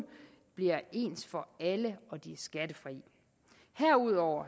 bliver ens for alle og pengene er skattefri herudover